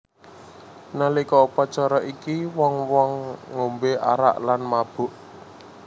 Nalika upacara iki wong wong ngombe arak lan mabuk